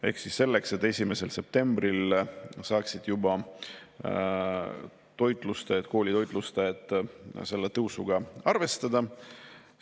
Seda selleks, et 1. septembril saaksid juba koolide toitlustajad, selle tõusuga arvestada.